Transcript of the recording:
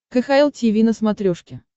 кхл тиви на смотрешке